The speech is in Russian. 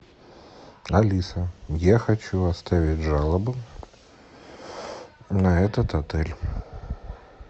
алиса я хочу оставить жалобу на этот отель